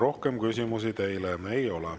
Rohkem küsimusi teile ei ole.